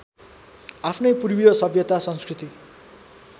आफ्नै पूर्वीय सभ्यता संस्कृति